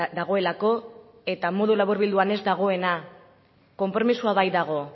dagoelako eta modu laburbilduan ez dagoena konpromisoa baitago